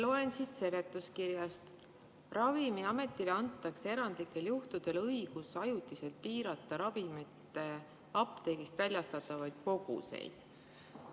Loen siit seletuskirjast: Ravimiametile antakse erandlikel juhtudel õigus ajutiselt piirata ravimite apteegist väljastatavaid koguseid.